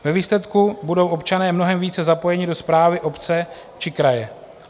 Ve výsledku budou občané mnohem více zapojeni do správy obce či kraje.